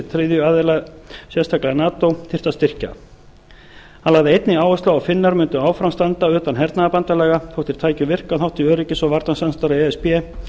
þriðja aðila sérstaklega nato þyrfti að styrkja hann lagði einnig áherslu á að finnar mundu áfram standa utan hernaðarbandalaga þótt þeir tækju virkan þátt í öryggis og varnarsamstarfi e s b